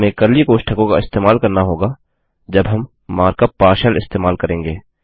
हमें कर्ली कोष्ठकों का इस्तेमाल करना होगा जब हम मार्क यूपी पार्शियल इस्तेमाल करेंगे